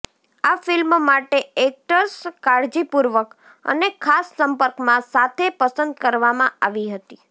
આ ફિલ્મ માટે એક્ટર્સ કાળજીપૂર્વક અને ખાસ સંપર્કમાં સાથે પસંદ કરવામાં આવી હતી